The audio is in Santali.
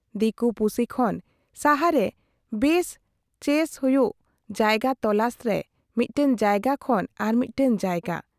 ᱫᱤᱠᱩ ᱯᱩᱥᱤ ᱠᱷᱚᱱ ᱥᱟᱦᱟᱨᱮ ᱵᱮᱥ ᱪᱮᱥ ᱦᱩᱭᱩᱜ ᱡᱟᱭᱜᱟ ᱛᱚᱞᱟᱥ ᱨᱮ ᱢᱤᱫᱴᱟᱝ ᱡᱟᱭᱜᱟ ᱠᱷᱚᱱ ᱦᱚᱸ ᱟᱨᱢᱤᱫᱴᱟᱝ ᱡᱟᱭᱜᱟ ᱾